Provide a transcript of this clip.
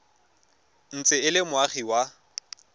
ntse e le moagi wa